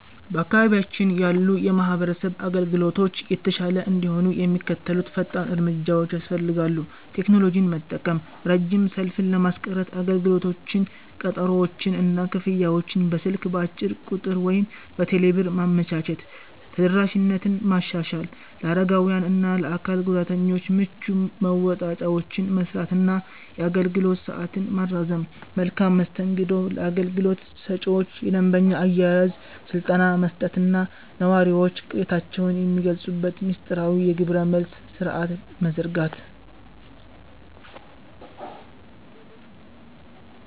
በአካባቢያችን ያሉ የማህበረሰብ አገልግሎቶች የተሻለ እንዲሆኑ የሚከተሉት ፈጣን እርምጃዎች ያስፈልጋሉ፦ ቴክኖሎጂን መጠቀም፦ ረጅም ሰልፍን ለማስቀረት አገልግሎቶችን፣ ቀጠሮዎችን እና ክፍያዎችን በስልክ (በአጭር ቁጥር ወይም በቴሌብር) ማመቻቸት። ተደራሽነትን ማሻሻል፦ ለአረጋውያን እና ለአካል ጉዳተኞች ምቹ መወጣጫዎችን መሥራት እና የአገልግሎት ሰዓትን ማራዘም። መልካም መስተንግዶ፦ ለአገልግሎት ሰጪዎች የደንበኛ አያያዝ ስልጠና መስጠት እና ነዋሪዎች ቅሬታቸውን የሚገልጹበት ሚስጥራዊ የግብረ-መልስ ሥርዓት መዘርጋት።